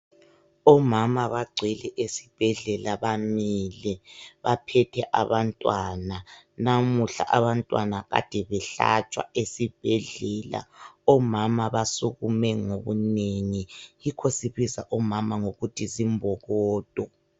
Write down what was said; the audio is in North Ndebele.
Omama bagcwele esibhedlela bamile baphethe abantwana. Namuhla abantwana kade behlatshwa esibhedlela. Omama basukume ngobunengi. Yikho sibiza omama ngokuthi zimbokodo.